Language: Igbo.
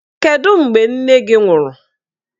Kedụ mgbe nne gị nwụrụ?